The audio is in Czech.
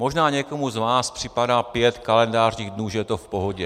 Možná někomu z vás připadá pět kalendářních dnů, že je to v pohodě.